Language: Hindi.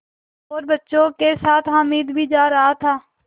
और बच्चों के साथ हामिद भी जा रहा था